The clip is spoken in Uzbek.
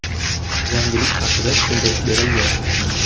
Yangilik haqida tushuntirish berilgan.